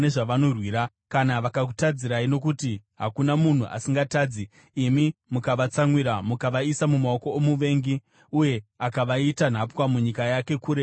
“Kana vakakutadzirai, nokuti hakuna munhu asingatadzi, imi mukavatsamwira, mukavaisa mumaoko omuvengi, uye akavaita nhapwa munyika yake, kure kana pedyo;